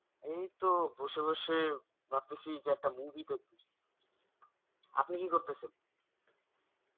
এইতো বসে বসে ভাবতেছি যে একটা movie দেখব আপনি কি করতেছেন?